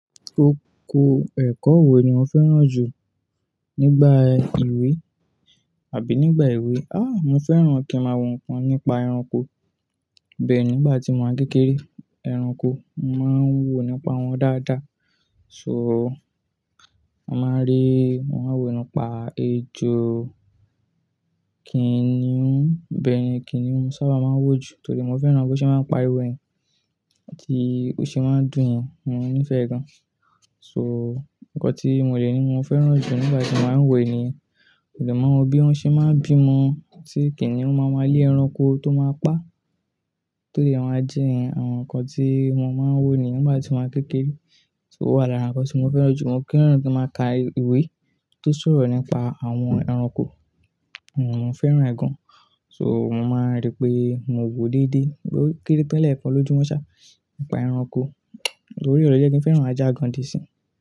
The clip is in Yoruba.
Oko ẹ̀kọ́ wo ni mo fẹ́ràn jù nígbà ìwé àbí nígbà ewé? Ah, mo fẹ́ràn kí ń máa wo nǹkan nípa ẹranko. Bẹ́ẹ̀ ni nígbà tí mo máa ń kékeré ẹranko, mo máa ń wò nípa wọn dáadáa. So mo máa ń rí, mo máa ń wò nípa ejò, kìnnìún. Bẹ́ẹ̀ ni kìnnìún mó ṣábà máa ń wò jù torí mo fẹ́ràn bó ṣe máa ń pariwo yen àti bó ṣe máa ń dùn yen. Mo nífẹ̀ẹ́ gan. So nǹkan tí mo lè ní mo fẹ́ràn jù nígbà tí mo máa ń wò ni, mo dè máa ń wò bí wón ṣe máa ń bímọ, tí kìnnìún máa ń ma lé ẹranko tó máa pa, tó dè máa jẹ ẹ̀yen àwọn nǹkan tí mo máa ń wò ni nígbà tí mo wà ń kékeré. So ó wà lárà nǹkan tí mo fẹ́ràn jù. Mo fẹ́ràn kí ń máa ka ìwé tó sọ̀rọ̀ nípa àwọn ẹranko. Mo fẹ́ràn ẹ̀ gan. So mo máa ń rí pé mo wò dédé, bó ó kéré tó lẹ̀ẹ̀kan lójúmọ́ sà nípa ẹranko. Lórí ọ̀rọ̀ yì ló jé kí ń fẹ́ràn ajá gan dí ẹ̀ sin.